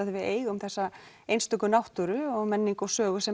því við eigum þessa einstöku náttúru menningu og sögu sem